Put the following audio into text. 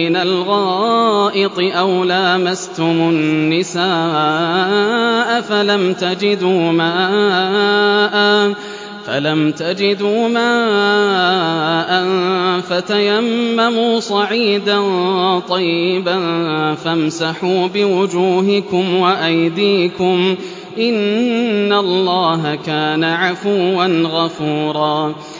مِّنَ الْغَائِطِ أَوْ لَامَسْتُمُ النِّسَاءَ فَلَمْ تَجِدُوا مَاءً فَتَيَمَّمُوا صَعِيدًا طَيِّبًا فَامْسَحُوا بِوُجُوهِكُمْ وَأَيْدِيكُمْ ۗ إِنَّ اللَّهَ كَانَ عَفُوًّا غَفُورًا